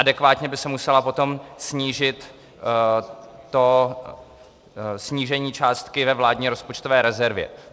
Adekvátně by se musela potom snížit to... snížení částky ve vládní rozpočtové rezervě.